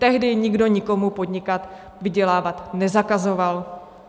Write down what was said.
Tehdy nikdo nikomu podnikat, vydělávat nezakazoval.